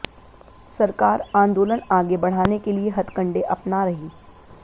सरकार आंदोलन आगे बढ़ाने के लिए हथकंडे अपना रही